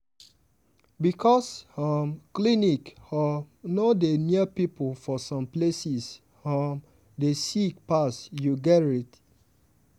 because um clinic um no dey near people for some places um dey sick pass you gerrit?